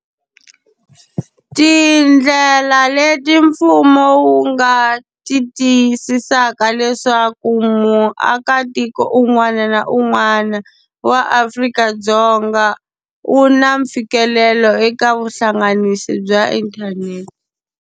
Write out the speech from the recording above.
Tindlela leti mfumo wu nga ti tiyisisaka leswaku muakatiko un'wana na un'wana wa Afrika-Dzonga u na mfikelelo eka vuhlanganisi bya inthanete.